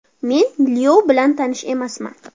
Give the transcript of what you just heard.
Men Lyov bilan tanish emasman.